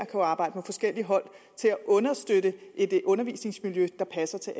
kan arbejde med forskellige hold til at understøtte et undervisningsmiljø der passer til